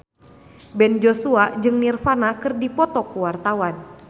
Ben Joshua jeung Nirvana keur dipoto ku wartawan